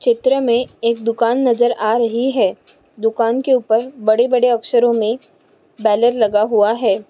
चित्र मे एक दुकान नजर आ रही है दुकान के ऊपर बड़े बड़े अक्षरों मे बैनर लगा हुआ है।